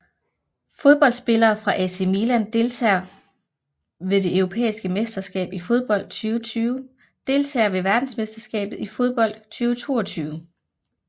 Fodboldspillere fra AC Milan Deltagere ved det europæiske mesterskab i fodbold 2020 Deltagere ved verdensmesterskabet i fodbold 2022